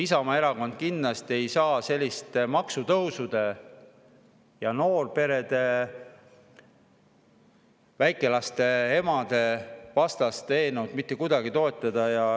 Isamaa Erakond kindlasti ei saa sellist maksutõusude, noorperede, väikelaste emade vastast eelnõu mitte kuidagi toetada.